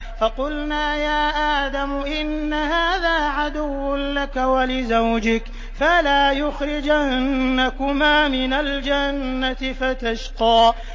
فَقُلْنَا يَا آدَمُ إِنَّ هَٰذَا عَدُوٌّ لَّكَ وَلِزَوْجِكَ فَلَا يُخْرِجَنَّكُمَا مِنَ الْجَنَّةِ فَتَشْقَىٰ